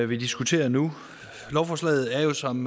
vi diskuterer nu lovforslaget er jo som